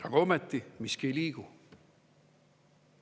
Aga ometi miski ei liigu.